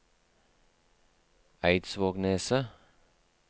Eidsvågneset